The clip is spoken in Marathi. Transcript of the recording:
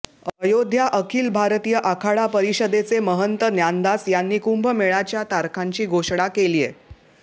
अयोध्या अखिल भारतीय आखाडा परिषदेचे महंत ज्ञानदास यांनी कुंभमेळ्याच्या तारखांची घोषणा केलीय